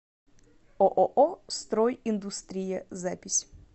ооо строй индустрия запись